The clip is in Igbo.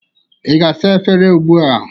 Ị ga-asa afere ugbụ a?